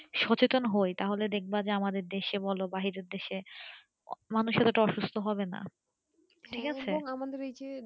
সচেতন হয় তাহলে দেখব আমাদের দেশের বা বাইরের দেশের মানুষেরা এতো অসুস্থ হবেনা ঠিক আছে